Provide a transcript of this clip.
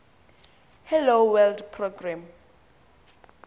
hello world program